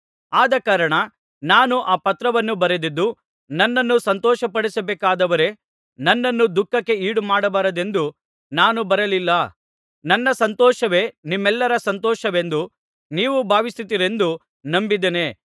ಆದಕಾರಣ ನಾನು ಆ ಪತ್ರವನ್ನು ಬರೆದದ್ದು ನನ್ನನ್ನು ಸಂತೋಷಪಡಿಸಬೇಕಾದವರೇ ನನ್ನನ್ನು ದುಃಖಕ್ಕೆ ಈಡುಮಾಡಬಾರದೆಂದು ನಾನು ಬರಲಿಲ್ಲ ನನ್ನ ಸಂತೋಷವೇ ನಿಮ್ಮೆಲ್ಲರ ಸಂತೋಷವೆಂದು ನೀವು ಭಾವಿಸುತ್ತೀರೆಂದು ನಂಬಿದ್ದೇನೆ